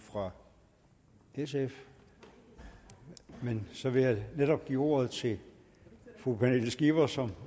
fra sf så jeg vil give ordet til fru pernille skipper som